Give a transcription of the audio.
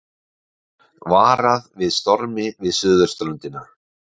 Varað við stormi við suðurströndina